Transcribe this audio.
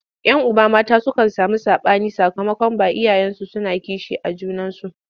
Yan uba mata sukan sami saɓani sakamakon ba iyayensu suna kishi a junansu.